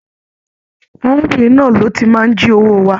Arábìnrin náà ló ti n máa n jí owó wa.